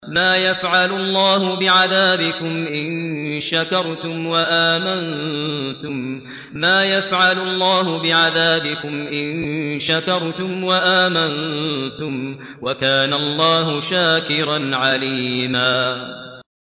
مَّا يَفْعَلُ اللَّهُ بِعَذَابِكُمْ إِن شَكَرْتُمْ وَآمَنتُمْ ۚ وَكَانَ اللَّهُ شَاكِرًا عَلِيمًا